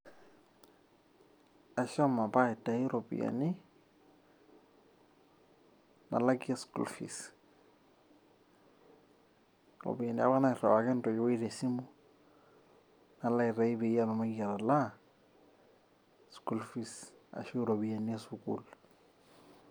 Ashomo apa aitayu iropiani nalakie school fees, iropiani apa nairiwaka entoiwoi tesimu nalo aitayu peyie atumoki atalaa school fees ashu iropiani esukul.